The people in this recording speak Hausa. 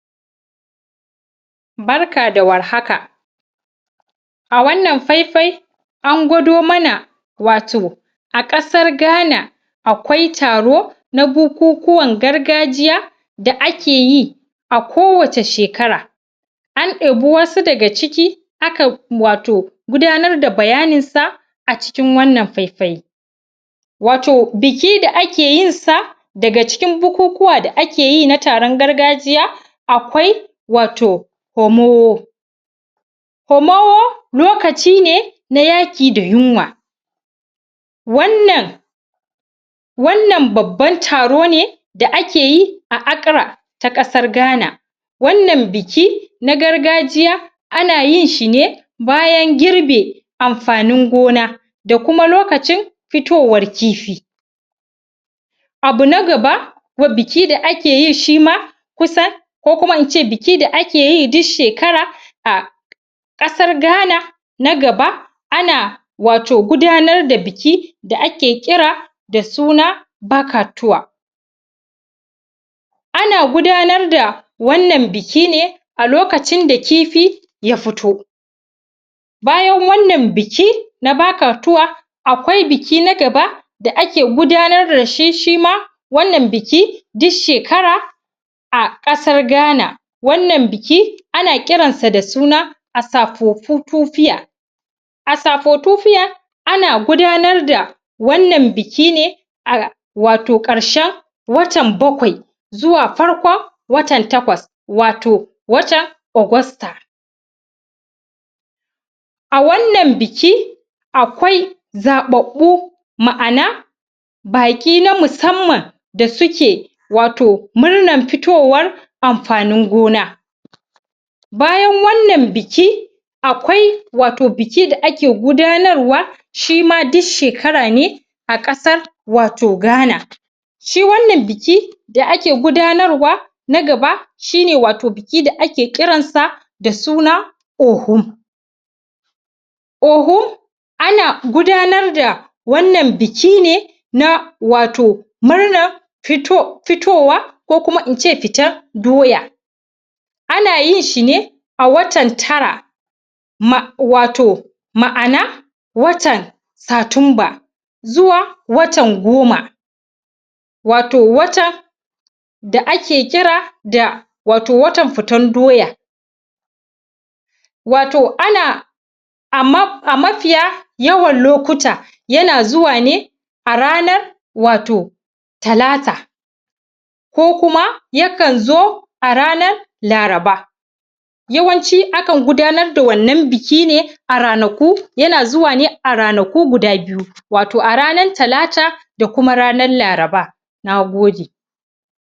Barka da warhaka a wannan faifai an gwado mana wato a ƙasar gana akwai taro na bukukuwan gargajiya da ake yi a kowace shekara an ɗebi wasu daga ciki hakan wato gudanar da bayaninsa a cikin wannan faifai wato biki da ake yinsa daga cikin bukukuwa da ake yi na taron gargajiya akwai wato homowwo homowwo lokaci ne na yaƙi da yunwa wannan wannan babban taro ne da ake yi a akra ta ƙasar ghana wannan biki na gargajiya ana yinshi ne bayan girbe amfanin gona da kuma lokacin fitowar kifi abu na gaba ko biki da akeyi shima kusan ko kuma in ce biki da akeyi duk shekara a ƙasar ghana na gaba ana wato gudanar da biki da ake ƙira da suna bakatuwa na gudanar da wannan biki ne a lokacin da kifi ya fito bayan wannan biki na bakatuwa akwai biki na gaba da ake gudanar dashi shima wannan biki duk shekara a ƙasar ghana wannan biki ana ƙiransa da suna asafofutufiya asafofutufiya ana gudanar da wannan biki ne a wato ƙarshen atan bakwai zuwa farkon watan takwas wato wata ogosta a wannan biki akwai zaɓaɓɓu ma'ana baƙi na musamman da suke wato murnan fitowar amfanin gona bayan wannan biki akwai wato biki da ake gudanarwa shima duk shekara ne a ƙasar wato ghana shi wannan biki da ake gudanarwa na gaba shine wato biki da ake ƙiransa da suna ohum ohum ana gudanar da wannan biki ne na wato murnar fitowa kokuma in ce fitar doya ana yinshi ne a watan tara wato ma'ana watan satumba zuwa watan goma wato wata da ake kira da wato watan fitan doya wato ana amma a mafiya yawan lokuta yana zuwa ne a ranar wato talata ko kuma yakan zo a ranar laraba yawanci akan gudanar da wannan biki ne a ranaku yana zuwa ne a ranaku guda biyu wato a ranar talata da kuma ranan laraba na gode